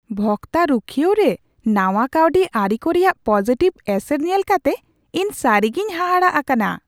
ᱵᱷᱚᱠᱛᱟ ᱨᱩᱠᱷᱟᱹᱭᱟᱹᱣ ᱨᱮ ᱱᱟᱶᱟ ᱠᱟᱹᱣᱰᱤ ᱟᱹᱨᱤᱠᱚ ᱨᱮᱭᱟᱜ ᱯᱚᱡᱤᱴᱤᱵᱷ ᱮᱥᱮᱨ ᱧᱮᱞ ᱠᱟᱛᱮ ᱤᱧ ᱥᱟᱹᱨᱤᱜᱮᱧ ᱦᱟᱦᱟᱲᱟᱜ ᱟᱠᱟᱱᱟ ᱾